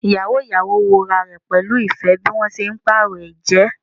Iyawo iyawo wo rẹ pẹlu ifẹ bi wọn ṣe paarọ ẹjẹ